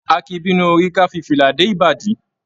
A kìí bínú orí ká fí fìlà dé ìbàdí.